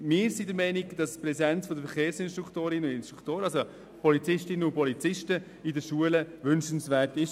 Wir sind der Meinung, dass die Präsenz von Verkehrsinstruktorinnen und Verkehrsinstruktoren, also Polizistinnen und Polizisten, in den Schulen wünschenswert ist.